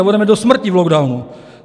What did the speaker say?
A budeme do smrti v lockdownu.